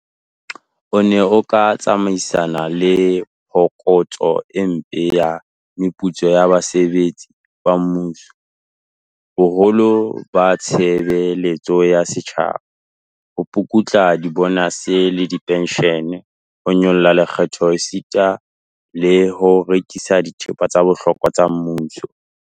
O ne o tla tsamaisana le phokotso e mpe ya meputso ya basebetsi ba mmuso, boholo ba tshebe letso ya setjhaba, ho pukutla dibonase le dipenshene, ho nyolla lekgetho esita le ho rekisa dithepa tsa bohlokwa tsa mmuso.